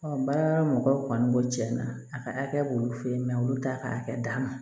baara mɔgɔw kɔni b'o cɛn na a ka hakɛ b'olu fɛ yen olu t'a ka hakɛ d'a ma